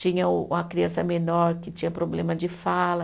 Tinha um uma criança menor que tinha problema de fala.